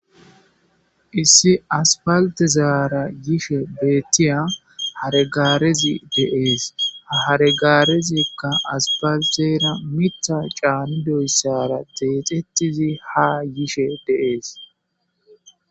issi aspaltezaara yishe beettiya haregaarezi de'ees haregaarezikka aspaltera mita caanidoyssara deexetizi ha yishe de'ees